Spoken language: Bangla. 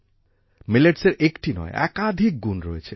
মিলেটসের একটা নয় একাধিক গুণ রয়েছে